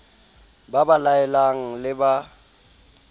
ba ba laelang le ba